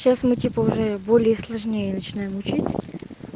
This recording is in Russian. сейчас мы типа уже более сложнее начинаем учить